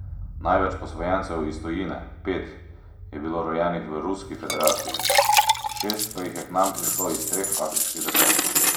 Največ posvojencev iz tujine, pet, je bilo rojenih v Ruski federaciji, šest pa jih je k nam prišlo iz treh afriških držav.